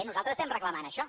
nosaltres estem reclamant això